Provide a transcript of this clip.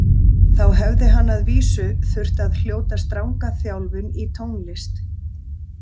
Þá hefði hann að vísu þurft að hljóta stranga þjálfun í tónlist.